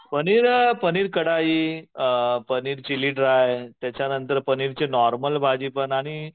पनीर पनीर कढई, अ paneer chilli dry त्याच्यानंतर पनीरची नॉर्मल भाजी पण आणि